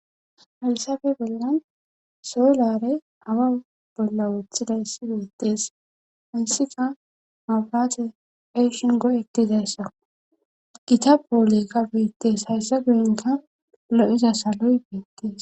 Halsabe bollan soolare awa bolla woththidayssi beettees hayssika mabirate eshin go'etidayssa gita boolekka beettees hayssa guyinka lo'iza saloy beettees.